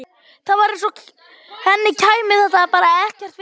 Það var eins og henni kæmi þetta bara ekkert við.